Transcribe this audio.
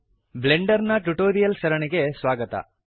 Blender ನ tutorials ಸರಣಿಗೆ ಸ್ವಾಗತ